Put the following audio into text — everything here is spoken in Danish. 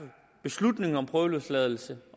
beslutning om prøveløsladelse